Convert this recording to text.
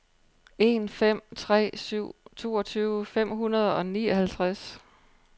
en fem tre syv toogtyve fem hundrede og nioghalvtreds